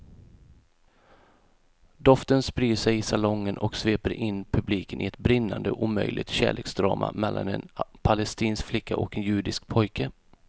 Doften sprider sig i salongen och sveper in publiken i ett brinnande omöjligt kärleksdrama mellan en palestinsk flicka och en judisk pojke.